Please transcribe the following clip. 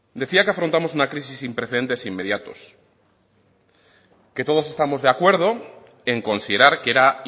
decía que afrontamos una crisis sin precedentes inmediatos que todos estamos de acuerdo en considerar que era